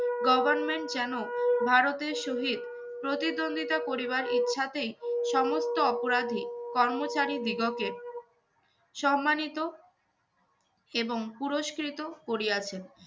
government যেন ভারতের সহিত প্রতিদ্বন্দ্বিতা করিবার ইচ্ছাতেই সমস্ত অপরাধী কর্মচারীদিগকের সম্মানিত এবং পুরস্কৃত করিয়াছেন,